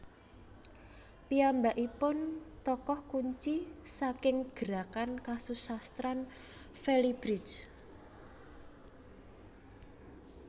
Piyambakipun tokoh kunci saking gerakan kesusasteraan félibrige